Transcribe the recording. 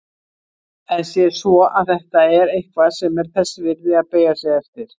En sé svo að þetta er eitthvað sem er þess virði að beygja sig eftir.